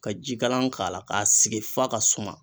Ka jikalan k'a la k'a sigi f'a ka suma.